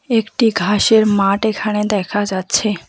একটি ঘাসের মাঠ এখানে দেখা যাচ্ছে।